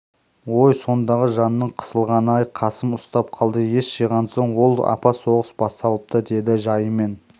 ой сондағы жанның қысылғаны-ай қасым ұстап қалды ес жиған соң ол апа соғыс басталыпты деді жайымен